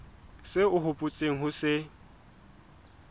seo o hopotseng ho se